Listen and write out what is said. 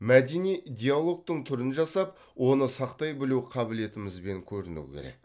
мәдени диалогтың түрін жасап оны сақтай білу қабілетімізбен көрінуі керек